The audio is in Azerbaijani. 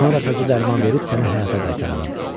Sonra təzə dərman verib sənə həyata qaytararam.